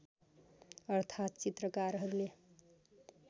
अर्थात् चित्रकारहरूले